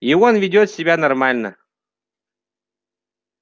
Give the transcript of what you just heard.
и он ведёт себя нормально